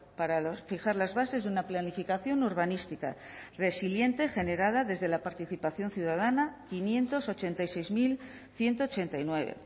para fijar las bases de una planificación urbanística resiliente generada desde la participación ciudadana bostehun eta laurogeita sei mila ehun eta laurogeita bederatzi